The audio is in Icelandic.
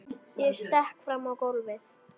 Ég stekk fram á gólfið.